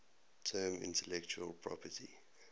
term intellectual property